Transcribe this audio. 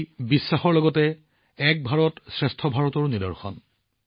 এয়া বিশ্বাসৰ সমান্তৰালকৈ ই এক ভাৰতশ্ৰেষ্ঠ ভাৰতৰ প্ৰতিফলন